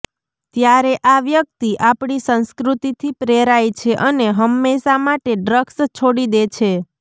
ત્યારે આ વ્યક્તિ આપણી સંસ્કૃતિથી પ્રેરાય છે અને હંમેશા માટે ડ્રગ્સ છોડી દે છે